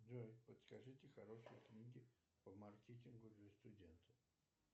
джой подскажите хорошие книги по маркетингу для студентов